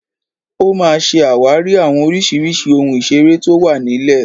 Ó máa ṣe àwárí àwọn oríṣiríṣi ohun ìseré tó wà nílẹ̀